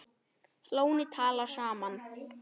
Flóni- tala saman.